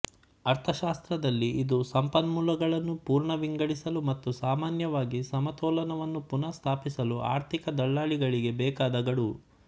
ಅರ್ಥಶಾಸ್ತ್ರದಲ್ಲಿ ಇದು ಸಂಪನ್ಮೂಲಗಳನ್ನು ಪುನರ್ವಿಂಗಡಿಸಲು ಮತ್ತು ಸಾಮಾನ್ಯವಾಗಿ ಸಮತೋಲನವನ್ನು ಪುನಃ ಸ್ಥಾಪಿಸಲು ಆರ್ಥಿಕ ದಳ್ಳಾಳಿಗಳಿಗೆ ಬೇಕಾದ ಗಡುವು